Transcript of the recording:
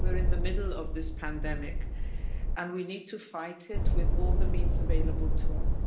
We're in the middle of this pandemic, and we need to fight it with all the means available to us.